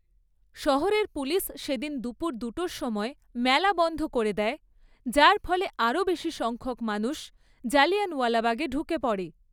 শহরের পুলিশ সেদিন দুপুর দুটোর সময় মেলা বন্ধ করে দেয়, যার ফলে আরও বেশি সংখ্যক মানুষ জালিয়ানওয়ালাবাগে ঢুকে পড়ে।